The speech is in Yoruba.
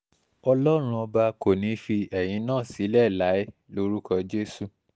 ọlọ́run ọba kò ní í fi ẹ̀yin náà sílẹ̀ láé lórúkọ jésù